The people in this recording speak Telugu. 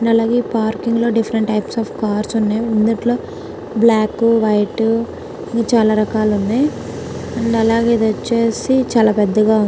అలాగే పార్కింగ్ లో డిఫరెంట్ టైప్స్ ఆఫ్ కార్స్ ఉన్నాయి అందులో బ్లాకు వైట్ చాలా రకాలు ఉన్నాయి అండ్ అలాగే ఇది వచ్చేసి చాలా పెద్దదిగా --